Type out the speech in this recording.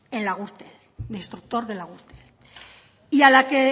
en la gürtel de instructor de la gürtel y a la que